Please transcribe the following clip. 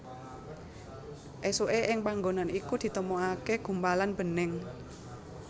Esuke ing panggonan iku ditemokake gumpalan bening